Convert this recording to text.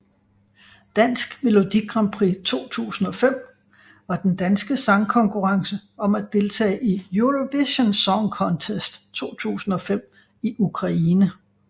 Dansk Melodi Grand Prix 2005 var den danske sangkonkurrence om at deltage i Eurovision Song Contest 2005 i Ukraine